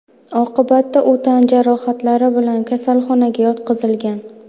Oqibatda u tan jarohatlari bilan kasalxonaga yotqizilgan.